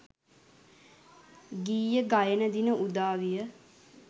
ගීය ගයන දින උදා විය.